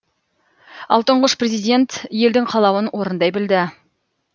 ал тұңғыш президент елдің қалауын орындай білді